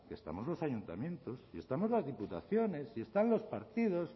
que estamos los ayuntamientos y estamos las diputaciones y están los partidos